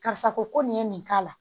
Karisa ko nin ye nin k'a la